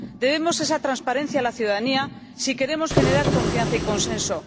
Debemos esa transparencia a la ciudadanía si queremos generar confianza y consenso.